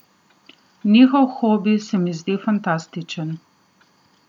Njihov hobi se mi zdi fantastičen.